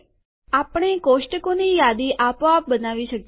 આપણે કોષ્ટકોની યાદી આપોઆપ બનાવી શકીએ છે